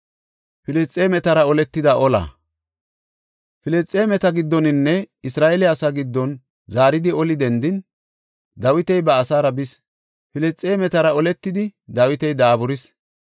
Filisxeemeta giddoninne Isra7eele asaa giddon zaaridi oli dendin, Dawiti ba asaara bis. Filisxeemetara oletidi Dawiti daaburis.